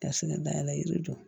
Dafinna da la yiri jɔ